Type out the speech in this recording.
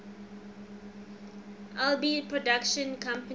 alby's production company